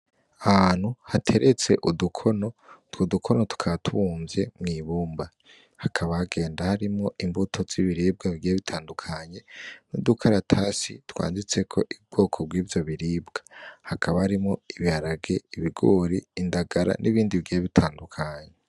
Ahantu hateretse udukono, utwo dukono tukaba tubumvye mw'ibumba, hakaba hagenda harimwo imbuto z'ibiribwa bigiye bitandukanye n'udukaratasi twanditseko ubwoko bw'ivyo biribwa. Hakaba harimwo ibiharage, ibigori , indagala n'ibindi bigiye bitandukanye.